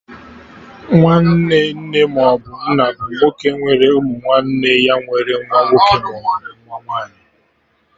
Nwanne nne maọbụ nna bụ nwoke nwere ụmụ nwanne ya nwere nwa nwoke maọbụ nwa nwaanyị